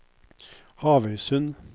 Havøysund